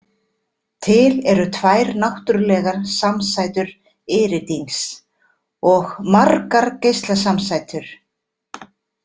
Til eru tvær náttúrulegar samsætur iridíns, og margar geislasamsætur.